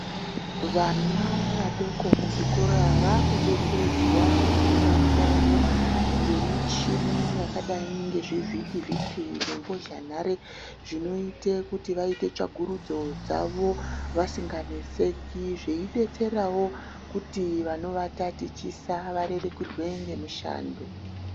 Vana vadoko kuzvikora vakudetseredzwa kufunda kwavo ngemichini yakadai ngezvivhiti vhiti nembozhanhare zvinoite kuti vaite tsvakurudzo dzavo vasinganeseki, veidetserawo kuti vanova tatichisa varerukirwe ngemishando.